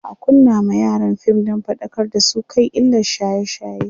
za'a kunna ma yaran fim Dan faɗakar da su kan illan shaye shaye